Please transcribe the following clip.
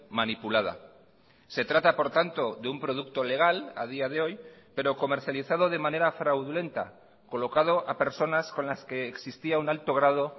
manipulada se trata por tanto de un producto legal a día de hoy pero comercializado de manera fraudulenta colocado a personas con las que existía un alto grado